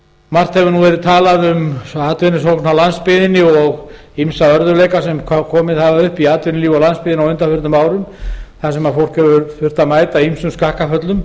margt hefur verið talað um atvinnusóknina á landsbyggðinni og ýmsa örðugleika sem komið hafa upp í atvinnulífi á landsbyggðinni á undanförnum árum þar sem fólk hefur þurft að mæta ýmsum skakkaföllum